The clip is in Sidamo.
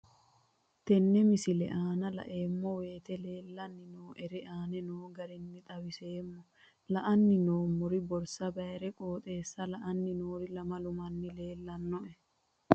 Tenne misile aana laeemmo woyte leelanni noo'ere aane noo garinni xawiseemmo. La'anni noomorri borsa baayire qooxeesa la''anni noori lamalu manni leelanoe.